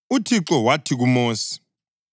UThixo wathi kuMosi,